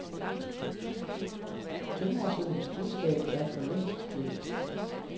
Tømrersønnens budskab er for længst glemt.